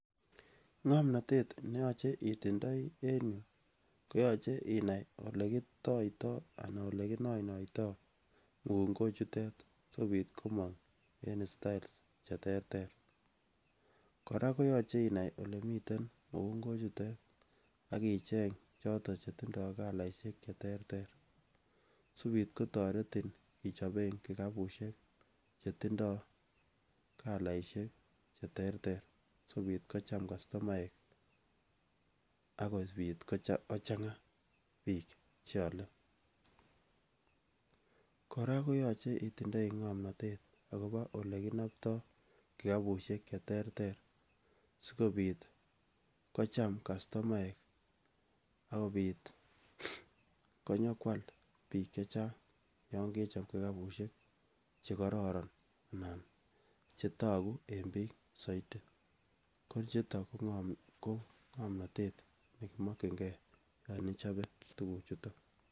Ngomnatet ne yoche itindoi en yu ko yoche inai olegitoitoi ana oleginainoitoi mugungochutet sigopit komang en istael che terter. Kora ko yache inai olemiten mugungo chutet ak icheng choto che tindo kalaiesyek cheterter sipit kotaretin ichopen kikapusiek che tindoi kalaisiek cheterter sigopit kocham kastomaek ak kopit ko changa biik che ale. Kora ko yache itindoi ngamnatet agobo olekinaptoi kikapusiek cheterter sigopit kocham kastomaek agopit konyokwal biik che chang yon kechop kikapusiek che kororon anan che tagu en biik saiti. Kochuton ko ngamnatet yon ichope tuguchuton.